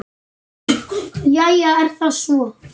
Jæja er það svo.